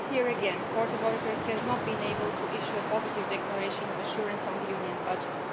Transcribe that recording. This year again, the Court of Auditors has not been able to issue a positive declaration of assurance on the Union budget.